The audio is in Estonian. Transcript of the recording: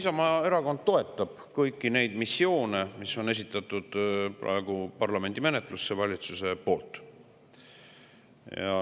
Isamaa Erakond toetab kõiki neid missioone, mis valitsus on esitanud parlamendi menetlusse.